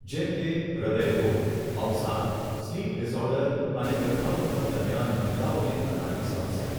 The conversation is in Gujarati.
જેમ કે હૃદય રોગ, અવસાદ, સ્લીપ ડિસઑર્ડર અને ગર્ભાવસ્થા દરમિયાન મહિલાઓને થનારી સમસ્યાઓ.